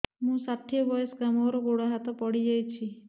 ମୁଁ ଷାଠିଏ ବୟସ୍କା ମୋର ଗୋଡ ହାତ ପଡିଯାଇଛି